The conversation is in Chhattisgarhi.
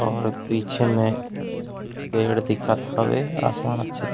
और एक पीछे में पेड़ दिखत हवे आसमान अच्छा दिख--